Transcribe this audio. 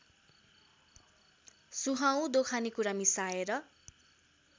सुहाउँदो खानेकुरा मिसाएर